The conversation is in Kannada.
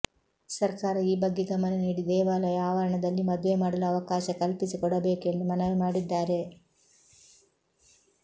ಸರ್ಕಾರ ಈ ಬಗ್ಗೆ ಗಮನ ನೀಡಿ ದೇವಾಲಯ ಆವರಣದಲ್ಲಿ ಮದುವೆ ಮಾಡಲು ಅವಕಾಶ ಕಲ್ಪಿಸಿಕೊಡಬೇಕು ಎಂದು ಮನವಿ ಮಾಡಿದ್ದಾರೆ